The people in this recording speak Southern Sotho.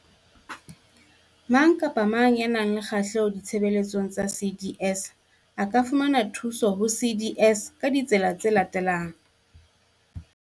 Mang kapa mang ya nang le kgahleho ditshebeletsong tsa CDS a ka fumana thuso ho CDS ka ditsela tse latelang.